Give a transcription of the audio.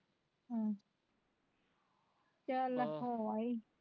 ਹਮ ਚੱਲ ਹੋ ਆਈ